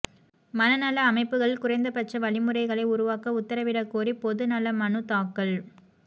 மன நல அமைப்புகளில் குறைந்தபட்ச வழிமுறைகளைஉருவாக்க உத்தரவிடக் கோரி பொது நல மனு தாக்கல்